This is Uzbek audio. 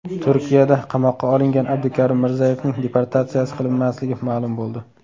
Turkiyada qamoqqa olingan Abdukarim Mirzayevning deportatsiya qilinmasligi ma’lum bo‘ldi.